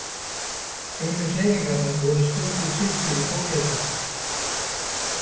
Einu hreyfingarnar voru stöku kippir í fótleggjunum.